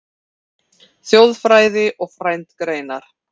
Þjóðfræði og frændgreinar